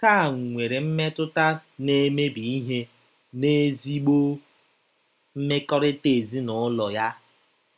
Nke a nwere mmetụta na-emebi ihe n'ezigbo mmekọrịta ezinụlọ ya.